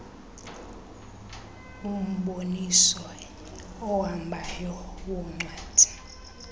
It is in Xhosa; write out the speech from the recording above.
umboniso ohambayo woncwadi